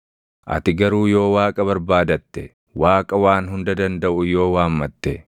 Ati garuu yoo Waaqa barbaadatte, Waaqa Waan Hunda Dandaʼu yoo waammatte,